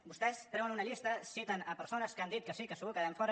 vostès treuen una llista citen persones que han dit que sí que segur que en quedarem fora